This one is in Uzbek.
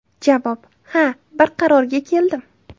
Javob: Ha, bir qarorga keldim.